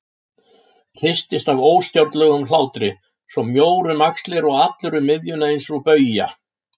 Hristist af óstjórnlegum hlátri, svo mjór um axlirnar og allur um miðjuna eins og bauja.